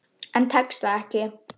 En tekst það ekki.